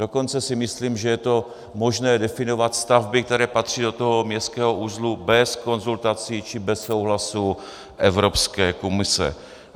Dokonce si myslím, že je to možné definovat stavby, které patří do toho městského uzlu bez konzultací či bez souhlasu Evropské komise.